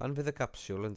pan fydd y capsiwl yn